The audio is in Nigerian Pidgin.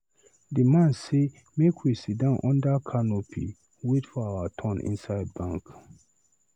The man say make we sit down under canopy wait for our turn inside bank.